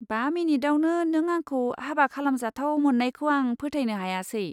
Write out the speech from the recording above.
बा मिनिटआवनो नों आंखौ हाबा खालामजाथाव मोन्नायखौ आं फोथायनो हायासै।